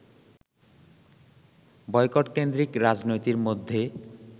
বয়কটকেন্দ্রিক রাজনীতির মধ্যে